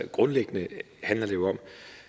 grundlæggende handler det om